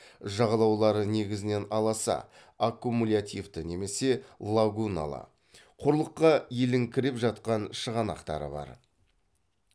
жағалаулары негізінен аласа аккумулятивті немесе лагуналы құрлыққа елеңкіреп жатқан шығанақтары бар